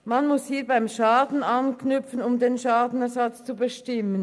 Man muss beim Schaden anknüpfen, um den Schadenersatz zu bestimmen.